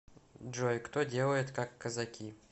джой кто делает как казаки